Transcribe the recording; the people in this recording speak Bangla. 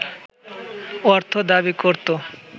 অর্থ দাবি করত